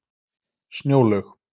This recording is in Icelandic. Snjólaug